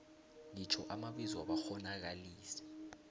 itjho amabizo wabakghonakalisi